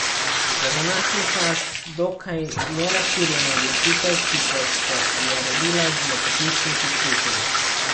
Za današnji čas dokaj nerazširjena odločitev, ki pa se je rodila iz lepotičinih izkušenj.